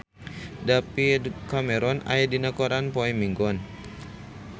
David Cameron aya dina koran poe Minggon